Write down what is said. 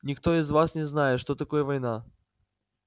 никто из вас не знает что такое война